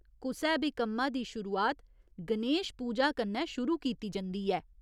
कुसै बी कम्मा दी शुरुआत गणेश पूजा कन्नै शुरू कीती जंदी ऐ।